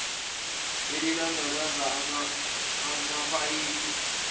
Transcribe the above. elilondoloza amapayipi angahlali